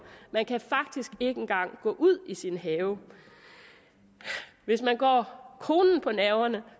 man kan faktisk ikke engang gå ud i sin have hvis man går konen på nerverne